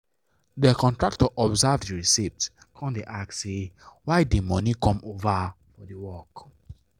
de contractor observe the reciept come da ask say why the money come over for the work